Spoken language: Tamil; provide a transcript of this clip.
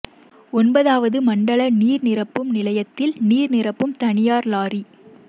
ஒன்பதாவது மண்டல நீர் நிரப்பும் நிலையத்தில் நீர் நிரப்பும் தனியார் லாரி